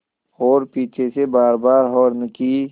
और पीछे से बारबार हार्न की